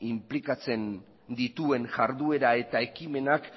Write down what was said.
inplikatzen dituen jarduera eta ekimenak